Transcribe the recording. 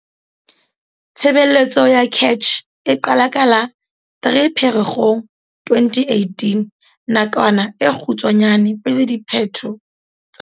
Tshebeletso ya CACH e qala ka la 3 Pherekgong 2018, nakwana e kgutshwanyane pele diphetho tsa